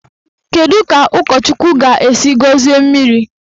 Kedụ ka ụkọchukwu ga-esi gọzie mmiri?